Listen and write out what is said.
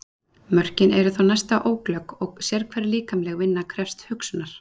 Mörkin eru þó næsta óglögg og sérhver líkamleg vinna krefst hugsunar.